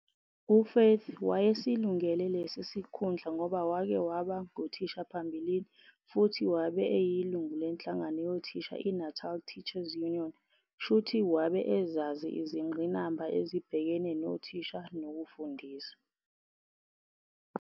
UFaith wayesilungele lesi sikhundla ngoba wake waba nguthisha ngaphambilini futhi wabe eyilungu lenhlangano yothisha i-Natal Teachers Union shuthi wabe ezazi izingqinamba ezibhekene nothisha nokufundisa.